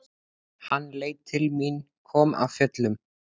Hann leit til mín, kom af fjöllum.